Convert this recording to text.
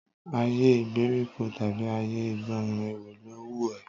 Ayé ìgbèríko tàbí ayé ìgbóòrùn, èwo ló wùn ẹ́?